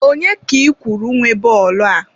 Onye ka ị kwuru nwe bọọlụ a?